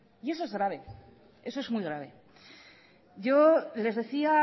y eso es grave eso es muy grave yo les decía